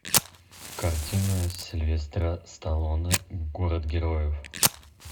картина сильвестра сталлоне город героев